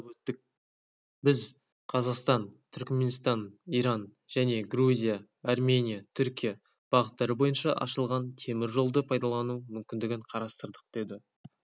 атап өттік біз қазақстан-түрікменстан-иран және грузия-армения-түркия бағыттары бойынша ашылған темір жолды пайдалану мүмкіндігін қарастырдық деді